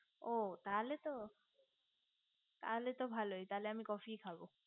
ও তাহলে তো তাহলে তো ভালোই আমি coffe ই খাবো